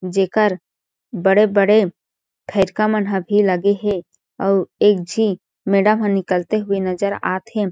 जेकर बड़े-बड़े फइरका मन ह भी लगे हे अउ एक झी मेडम ह निकलते हुए नज़र आत हे।